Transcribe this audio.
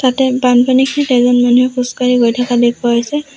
ইয়াতে বানপানীত এজন মানুহে খোজকাঢ়ি গৈ থকা দেখুওৱা হৈছে।